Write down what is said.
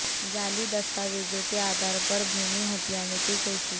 जाली दस्तावेज़ों के आधार पर भूमि हथियाने की कोशिश